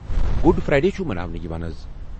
Good Friday چُھ مَناونہٕ یِوان ازَ۔